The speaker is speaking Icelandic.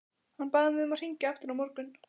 Hann bað mig að hringja aftur á morgun.